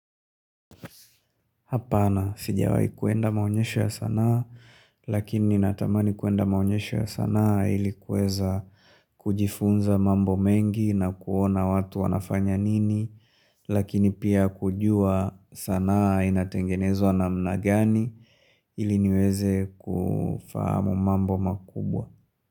Hapana, sijawai kuenda maonyesha ya sanaa, lakini natamani kuenda maonyesha ya sanaa ili kuweza kujifunza mambo mengi na kuona watu wanafanya nini, lakini pia kujua sanaa inatengenezwa namna gani iliniweze kufahamu mambo makubwa.